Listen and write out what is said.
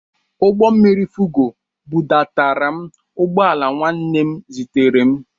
Ụgbọmmiri Fugo bụdatara m ugbọala nwanne m zitere m.